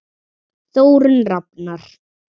Þórunn Rafnar.